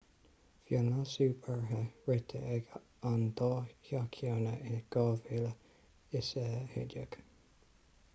bhí an leasú beartaithe rite ag an dá theach cheana in 2011